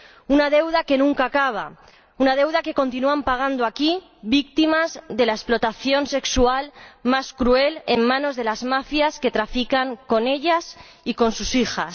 Una deuda que nunca acaba, una deuda que continúan pagando aquí, víctimas de la explotación sexual más cruel en manos de las mafias que trafican con ellas y con sus hijas.